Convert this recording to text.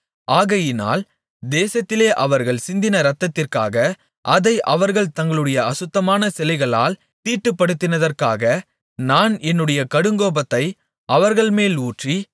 ஆகையினால் தேசத்திலே அவர்கள் சிந்தின இரத்தத்திற்காக அதை அவர்கள் தங்களுடைய அசுத்தமான சிலைகளால் தீட்டுப்படுத்தினதிற்காக நான் என்னுடைய கடுங்கோபத்தை அவர்கள்மேல் ஊற்றி